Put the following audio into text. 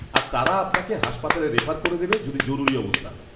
-আর তারা আপনাকে হাসপাতালে রেফার করে দেবে, যদি জরুরি অবস্থা হয়।